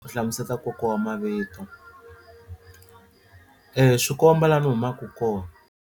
Ku hlamuseta nkoka wa mavito swi komba laha ni humaka kona.